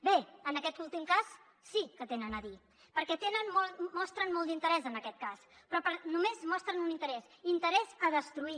bé en aquest últim cas sí que hi tenen a dir perquè mostren molt d’interès en aquest cas però només mostren un interès interès a destruir